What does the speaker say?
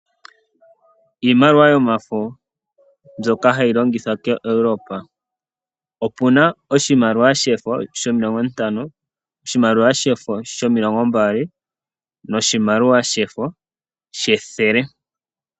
Iimaliwa yomafo mbyoka hayi longithwa koEurope. Opu na oshimaliwa shefo shomilongo ntano, oshimaliwa shefo shomilongo mbali noshimaliwa shefo shethele.